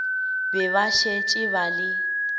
be ba šetše ba le